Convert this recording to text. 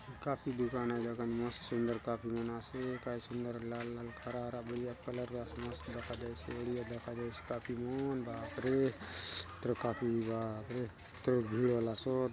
कॉपी दुकान आय दखा नी मस्त सुंदर कॉपी मन आसे मस्त काय सुंदर लाल - लाल हरा - हरा बढ़िया कलर आसे मस्त दखा देयसे बढ़िया दखा देयसे कॉपी मन बाप रे इतरो कॉपी मन बाप रे इतरो भीड़ होलासोत।